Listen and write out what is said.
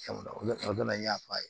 N y'a f'a ye